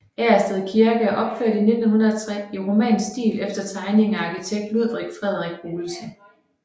Agersted Kirke er opført 1903 i romansk stil efter tegning af arkitekt Ludvig Frederik Olesen